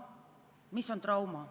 Mis on trauma?